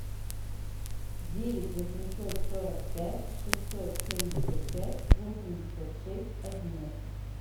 девять восемьсот сорок пять шестьсот семьдесят пять восемьдесят шесть одиннадцать